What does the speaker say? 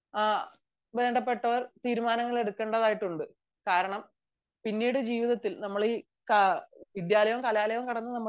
വേണ്ടപ്പെട്ടവർ തീരുമാനങ്ങൾ എടുക്കേണ്ടതുണ്ട് കാരണം പിന്നീട് ജീവിതത്തിൽ നമ്മൾ ഈ വിദ്യാലയവും കലാലയവും കടന്നു നമ്മൾ